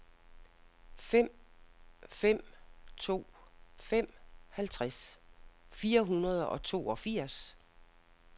fem fem to fem halvtreds fire hundrede og toogfirs